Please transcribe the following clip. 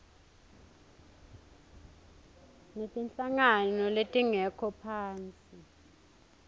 netinhlangano letingekho ngaphasi